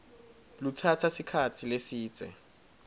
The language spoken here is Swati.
lutsatsa sikhatsi lesidze